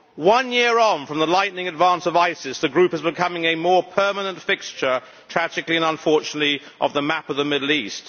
One year on from the lightning advance of ISIS, the group is becoming a more permanent fixture, tragically and unfortunately, of the map of the Middle East.